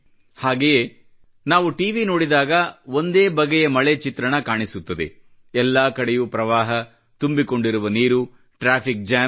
ಹಾಗೆಯೇ ನಾವು ಟಿವಿ ನೋಡಿದಾಗ ಒಂದೇ ಬಗೆಯ ಮಳೆಯ ಚಿತ್ರಣ ಕಾಣಿಸುತ್ತವೆ ಎಲ್ಲಾ ಕಡೆಯೂ ಪ್ರವಾಹ ತುಂಬಿಕೊಂಡಿರುವ ನೀರು ಟ್ರಾಫಿಕ್ ಜಾಮ್